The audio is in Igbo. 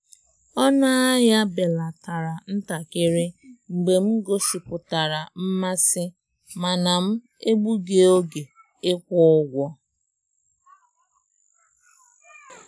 Ọnụ ahịa belatara ntakịrị mgbe m gosipụtara mmasị mana m egbughị oge ịkwụ ụgwọ. ụgwọ.